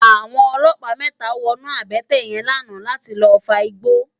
Awòn òlòpá mètá wònú àbètè yèn làná làtí lòfágbó